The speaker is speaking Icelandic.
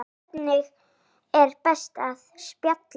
Hvernig er best að spila?